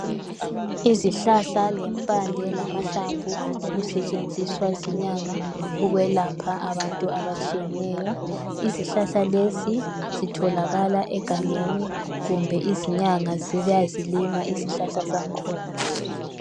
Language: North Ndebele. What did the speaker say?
Izihlahla lempande lamahlamvu okusetshenziswa zinyanga ukwelapha abantu abatshiyeneyo. Izihlahla lezi zitholakala egangeni kumbe izinyanga ziyazilima izihlahla zangkhona